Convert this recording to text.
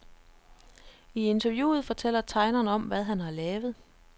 I interviewet fortæller tegneren om, hvad han har lavet.